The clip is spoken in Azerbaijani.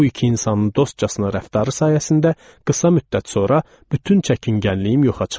Bu iki insanın dostcasına rəftarı sayəsində qısa müddət sonra bütün çəkingənliyim yoxa çıxdı.